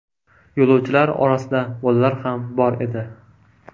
Yo‘lovchilar orasida bolalar ham bor edi.